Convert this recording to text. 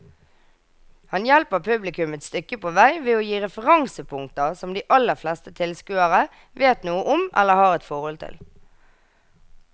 Han hjelper publikum et stykke på vei ved å gi referansepunkter som de aller fleste tilskuere vet noe om eller har et forhold til.